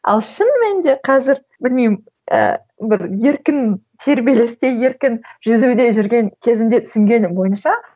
ал шын мәнінде қазір білмеймін ііі бір еркін тербелісте еркін жүзуде жүрген кезімде түсінгенім бойынша